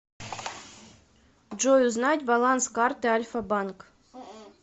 джой узнать баланс карты альфа банк